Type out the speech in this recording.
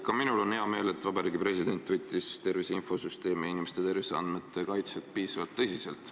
Ka minul on hea meel, et Vabariigi President võttis tervise infosüsteemis olevate inimese terviseandmete kaitset piisavalt tõsiselt.